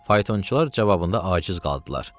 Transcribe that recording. faytonçular cavabında aciz qaldılar.